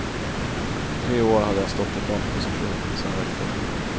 I tre år hade jag stått i frontposition, sen räckte det.